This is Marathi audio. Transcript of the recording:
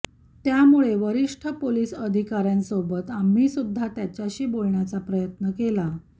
त्यामुळे वरिष्ठ पोलीस अधिकाऱ्यांसोबत आम्हीसुद्धा त्याच्याशी बोलण्याचा प्रयत्न केला